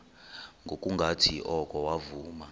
ngokungathi oko wavuma